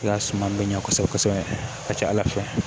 I ka suma bɛ ɲɛ kosɛbɛ kosɛbɛ a ka ca ala fɛ